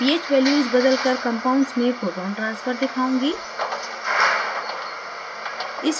मैं ph values बदलकर compounds में proton transfer दिखाऊँगी